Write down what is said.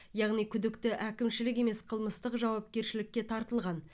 яғни күдікті әкімшілік емес қылмыстық жауапкершілікке тартылған